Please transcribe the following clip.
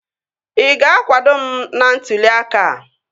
Ị ga-akwado m n'ntụli aka a?